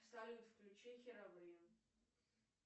салют включи херобрин